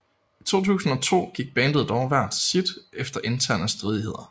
I 2002 gik bandet dog hver til sit efter interne stridigheder